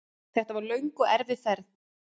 Þetta var löng og erfið ferð.